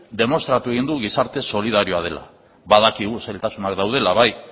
demostratu egin du gizarte solidarioa dela badakigu zailtasunak daudela bai